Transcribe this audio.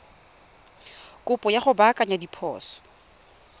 kopo ya go baakanya diphoso